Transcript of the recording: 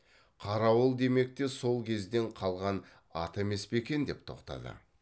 қарауыл демек те сол кезден қалған ат емес пе екен деп тоқтады